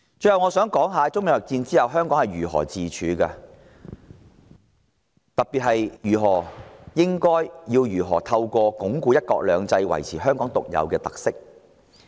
最後，我想談談在中美貿易戰下，香港如何自處，特別是應如何透過鞏固"一國兩制"，維持香港的獨有特色。